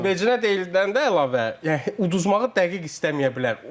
Vecinə deyildən də əlavə, yəni uduzmağı dəqiq istəməyə bilər.